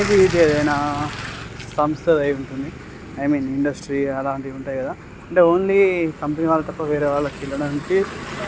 ఏదైనా సంస్థ అయి ఉంటుంది. ఐ మీన్ ఇండస్ట్రీ అలాంటివి ఉంటాయి కదా. అంతే ఓన్లీ కంపెనీ వాలా తప్ప వేరేయ్ వాళ్ళుకి ఇవ్వడానికి --